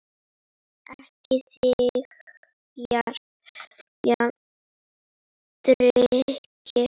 Ekki þiggja drykki.